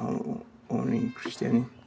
àwọn orin Kristieni.